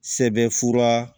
Sɛbɛnfura